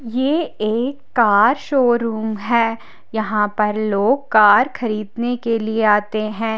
ये एक car showroom है यहां पर लोग कार खरीदने के लिए आते हैं।